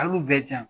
Al'u bɛɛ ja